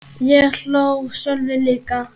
Ég hló og Sölvi líka.